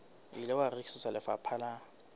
ile wa rekisetswa lefapha la